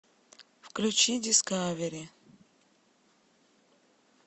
включи дискавери